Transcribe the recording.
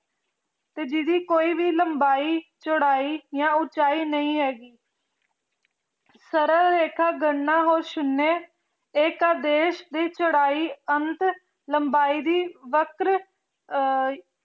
ਤੇ ਜਿਦੀ ਕੋਈ ਵੀ ਲੰਬਾਈ ਚੋਰੀ ਯਾ ਓਨ੍ਚਾਈ ਨਿਆ ਹੇਗੀ ਸਾਰਕ ਰੇਖਾ ਗਾਨਾ ਹੋ ਸ਼ੂਨ੍ਯ ਤੇ ਕਾਦੇਸ਼ ਦੀ ਲੰਬਾਈ ਨਾਟ ਚੁਰਾਈ ਵਾਟਰ